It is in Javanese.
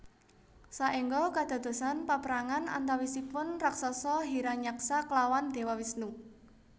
Saéngga kadadosan paprangan antawisipun raksasa Hiranyaksa klawan Déwa Wisnu